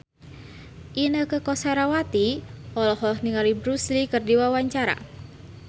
Inneke Koesherawati olohok ningali Bruce Lee keur diwawancara